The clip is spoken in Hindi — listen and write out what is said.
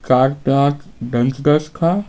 चार पांच बेंच डेस्क है ।